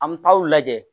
An mi taa o lajɛ